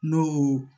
N'o